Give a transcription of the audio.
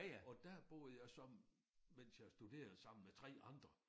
Og dér boede jeg så mens jeg studerede sammen med 3 andre